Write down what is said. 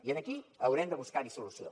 i aquí haurem de buscar hi solució